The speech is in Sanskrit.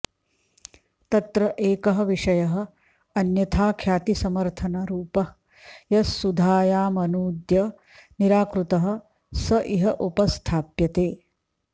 तत्र एकः विषयः अन्यथाख्यातिसमर्थनरुपः यस्सुधायामनूद्य निराकृतः स इह उपस्थाप्यते